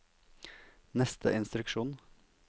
neste instruksjon